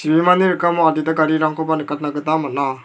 bimani rikamo adita garirangkoba nikatna gita man·a.